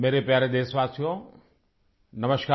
मेरे प्यारे देशवासियो नमस्कार